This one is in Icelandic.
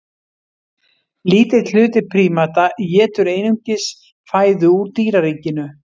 Lítill hluti prímata étur einungis fæðu úr dýraríkinu.